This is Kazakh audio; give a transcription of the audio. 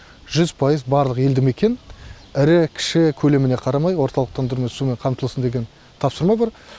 жүз пайыз барлық елді мекен ірі кіші көлеміне қарамай орталықтандырумен сумен қамтылсын деген тапсырма бар